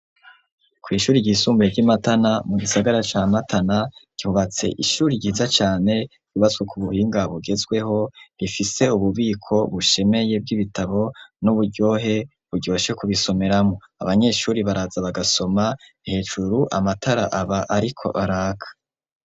Kw'ishuri ryisumbuye ry'imatana mu gisagara ca matana rubatse ishuri ryiza cane bibazswe ku buhinga bugezweho bifise ububiko bushemeye bw'ibitabo n'uburyohe buryoshe ku bisomeramwo abanyeshuri baraza bagasoma hejuru amatara aba ariko araka.